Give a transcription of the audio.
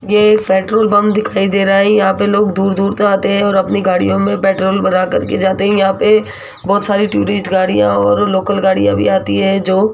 ये एक petrol pump दिखाई दे रहा है यहां पे लोग दूर दूर से आते हैं और अपनी गाड़ियों में पेट्रोल भरा करके जाते है यहां पे बहोत सारी टूरिस्ट गाड़ियां और लोकल गाड़ियां भी आती हैं जो --